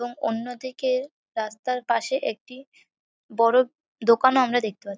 এবং অন্যদিকের রাস্তার পাশে একটি বড়ো দোকানও আমরা দেখতে পা--